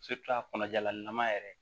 a kɔnɔ jalan ɲanama yɛrɛ